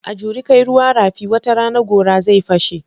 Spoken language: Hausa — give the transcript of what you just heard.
A juri kai ruwa rafi, wata rana gora zai fashe.